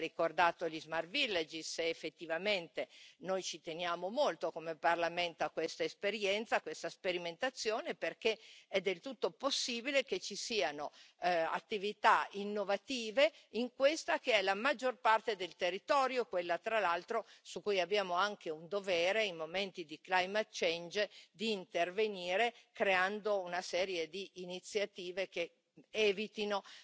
Lei ha ricordato gli Smart Village, ed effettivamente noi ci teniamo molto, come Parlamento a questa esperienza, a questa sperimentazione, perché è del tutto possibile che ci siano attività innovative in questa che è la maggior parte del territorio, quella tra l'altro su cui abbiamo anche un dovere, in momenti di climate change, di intervenire creando una serie di iniziative che evitino